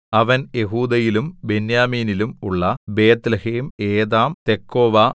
അവൻ യെഹൂദയിലും ബെന്യാമീനിലും ഉള്ള ബേത്ത്ലേഹേം ഏതാം തെക്കോവ